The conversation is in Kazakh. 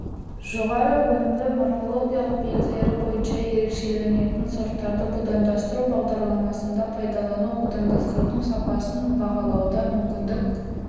жоғары өнімді морфологиялық белгілері бойынша ерекшеленетін сорттарды будандастыру бағдарламаларында пайдалану будандастырудың сапасын бағалауға мүмкіндік